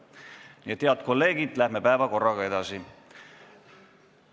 Nii et, head kolleegid, läheme päevakorraga edasi.